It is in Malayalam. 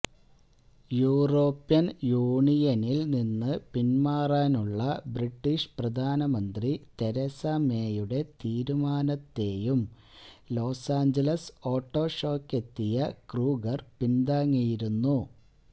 യൂറോപ്യൻ യൂണിയനിൽ നിന്നു പിൻമാറാനുള്ള ബ്രിട്ടീഷ് പ്രധാനമന്ത്രി തെരേസ മേയുടെ തീരുമാനത്തെയും ലൊസാഞ്ചലസ് ഓട്ടോ ഷോയ്ക്കെത്തിയ ക്രൂഗർ പിന്താങ്ങിയിരുന്നു